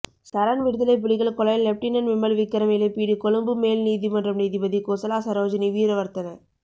சரண் விடுதலைப்புலிகள் கொலை லெப்டினன் விமல் விக்ரம இழப்பீடு கொழும்பு மேல் நீதிமன்றம் நீதிபதி குசலா சரோஜினி வீரவர்தன